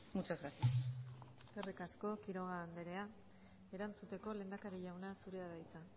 muchas gracias eskerrik asko quiroga andrea erantzuteko lehendakari jauna zurea da hitza